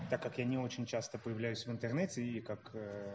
так как я не очень часто появляюсь в интернете и как